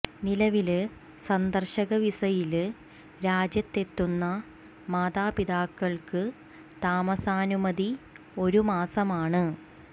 നിലവില് സന്ദര്ശക വിസയില് രാജ്യത്തെത്തുന്ന മാതാപിതാക്കള് ക്ക് താമസാനുമതി ഒരു മാസമാണ്